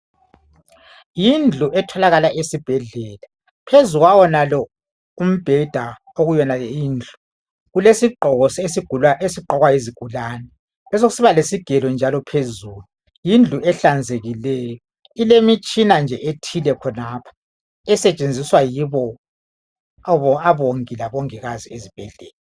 yindlu etholakala esibhedlela phezukwayenalo ubheda okuyena le indlu kulesigqoko esigqokwa yizigulane besokusibale sigelo njalo phezulu yindlu ehlanzekileyo ilemitshina nje ethile khonapho esetshenziswa yibo omongi labomongikazi.